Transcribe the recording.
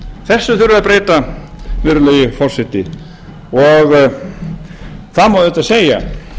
öfugt þessu þurfum við að breyta virðulegi forseti það má auðvitað segja